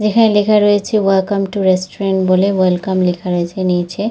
যেখানে লেখা রয়েছে ওয়েলকাম টু রেস্টোরেন্ট বলে ওয়েলকাম লেখা রয়েছে নীচে--